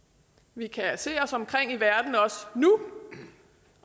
vi kan se os omkring i verden også nu